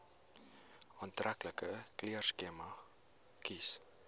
aantreklike kleurskema kies